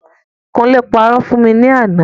Kúnlé parọ́ fún mi ní àná.